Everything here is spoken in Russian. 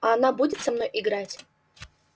а она будет со мной играть